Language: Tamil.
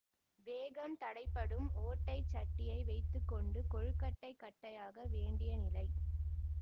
வேகம் தடைப்படும் ஒட்டைச் சட்டியை வைத்து கொண்டு கொழுக்கட்டை கட்டையாக வேண்டிய நிலை